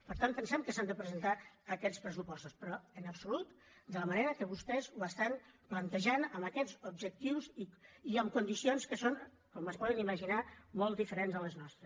per tant pensem que s’han de presentar aquests pressupostos però en absolut de la manera que vostès ho estan plantejant amb aquests objectius i amb condicions que són com es poden imaginar molt diferents de les nostres